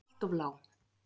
Allt of lág.